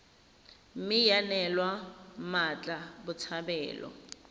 mme ya neelwa mmatla botshabelo